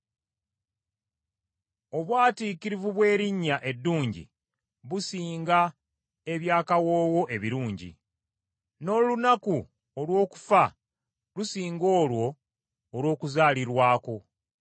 Obwatiikirivu bw’erinnya eddungi businga eby’akawoowo ebirungi; n’olunaku olw’okufa lusinga olwo olw’okuzaalirwako.